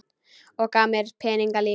Og gaf mér peninga líka.